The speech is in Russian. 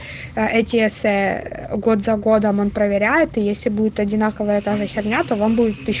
а эти эссе год за годом он проверяет если будет одинаковая та же херня то вам будет тыщ